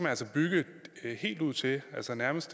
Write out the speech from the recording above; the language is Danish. altså bygge helt ud til altså nærmest